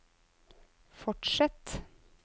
fortsett